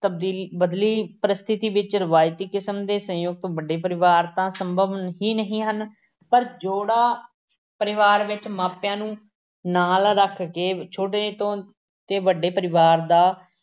ਤਬਦੀਲੀ ਬਦਲੀ ਪਰਿਸਥਿਤੀ ਵਿੱਚ ਰਵਾਇਤੀ ਕਿਸਮ ਦੇ ਸੰਯੁਕਤ ਵੱਡੇ ਪਰਿਵਾਰ ਤਾਂ ਸੰਭਵ ਹੀ ਨਹੀਂ ਹਨ ਪਰ ਜੋੜਾ-ਪਰਿਵਾਰ ਵਿੱਚ ਮਾਪਿਆਂ ਨੂੰ ਨਾਲ ਰੱਖ ਕੇ ਛੋਟੇ ਤੋਂ ਤੇ ਵੱਡੇ ਪਰਿਵਾਰ ਦਾ